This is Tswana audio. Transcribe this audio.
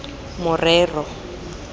morero